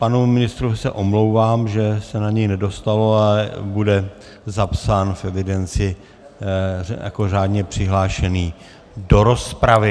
Panu ministru se omlouvám, že se na něj nedostalo, ale bude zapsán v evidenci jako řádně přihlášený do rozpravy.